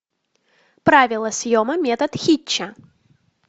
правила съема метод хитча